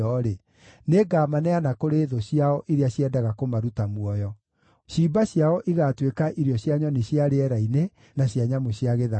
nĩngamaneana kũrĩ thũ ciao iria ciendaga kũmaruta muoyo. Ciimba ciao igaatuĩka irio cia nyoni cia rĩera-inĩ, na cia nyamũ cia gĩthaka.